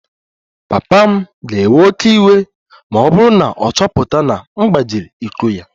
Papa m ga-ewe oké iwe ma ọ bụrụ na ọ chọpụta na m gbajiri iko ya